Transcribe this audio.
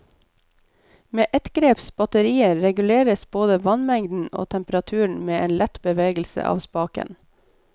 Med ettgreps batterier reguleres både vannmengden og temperaturen med en lett bevegelse av spaken.